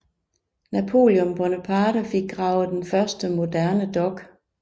Napoleon Bonaparte fik gravet den første moderne dok